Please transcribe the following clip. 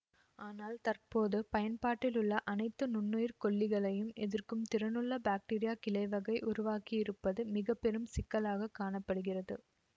ஆனால் தற்போது பயன்பாட்டிலுள்ள அனைத்து நுண்ணுயிர் கொல்லிகளையும் எதிர்க்கும் திறனுள்ள பாக்டீரியா கிளைவகை உருவாகியிருப்பது மிக பெரும் சிக்கலாகக் காண படுகிறது